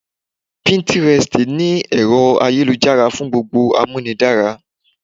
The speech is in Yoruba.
Píntírẹstì ni ẹ̀rọ-ayélujára fún gbogbo Amúnidára.